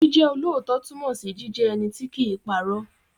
Jíjẹ́ olóòótọ́ túnmọ̀ sí jíjẹ́ ẹni tí kìí pa irọ́.